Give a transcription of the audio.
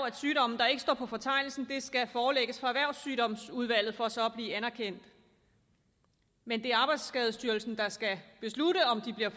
at sygdomme der ikke står på fortegnelsen skal forelægges for erhvervssygdomsudvalget for så at blive anerkendt men det er arbejdsskadestyrelsen der skal beslutte om de kan